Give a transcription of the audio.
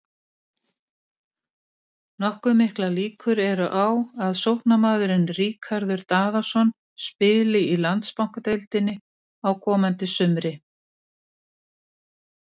Nokkuð miklar líkur eru á að sóknarmaðurinn Ríkharður Daðason spili í Landsbankadeildinni á komandi sumri.